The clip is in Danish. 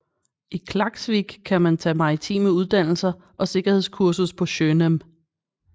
I Klaksvík kan man tage maritime uddannelser og sikkerhedskursus på Sjónám